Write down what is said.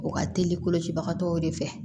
O ka teli kolocibagatɔw de fɛ